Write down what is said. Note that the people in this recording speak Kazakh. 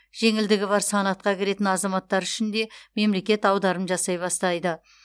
жеңілдігі бар санатқа кіретін азаматтар үшін де мемлекет аударым жасай бастайды